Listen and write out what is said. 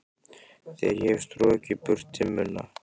Þegar ég hef strokið burt dimmuna.